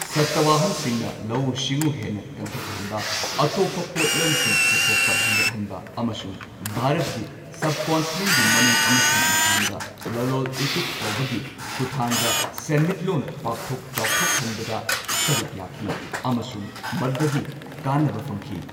ꯁꯇꯋꯥꯍꯟꯁꯤꯡꯅ ꯂꯧꯎ ꯁꯤꯡꯎ ꯍꯦꯟꯅ ꯀꯟꯈꯠꯍꯟꯕ, ꯑꯇꯣꯞꯄ ꯄꯣꯠꯂꯝꯁꯤꯡ ꯄꯨꯊꯣꯛꯄ ꯍꯦꯟꯒꯠꯍꯟꯕ, ꯑꯃꯁꯨꯡ ꯚꯥꯔꯠꯀꯤ ꯁꯕꯀꯟꯇꯤꯅꯦꯟꯒꯤ ꯃꯅꯨꯡ ꯑꯃꯁꯨꯡ ꯃꯄꯥꯟꯗ ꯂꯂꯣꯟ ꯏꯇꯤꯛ ꯇꯧꯕꯒꯤ ꯈꯨꯊꯥꯡꯗ ꯁꯦꯟꯃꯤꯠꯂꯣꯟ ꯄꯥꯛꯊꯣꯛ ꯆꯥꯎꯊꯣꯛꯍꯟꯕꯗ ꯁꯔꯨꯛ ꯌꯥꯈꯤ ꯑꯃꯁꯨꯡ ꯃꯗꯨꯗꯒꯤ ꯀꯥꯟꯅꯕ ꯐꯪꯈꯤ꯫